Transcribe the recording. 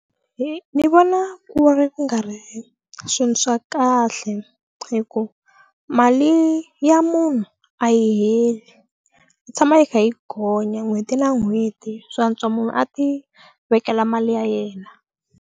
Hi ni vona ku ri ku nga ri swilo swa kahle hi ku mali ya munhu a yi heli yi tshama yi kha yi gonya n'hweti na n'hweti swa antswa munhu a ti vekela mali ya yena.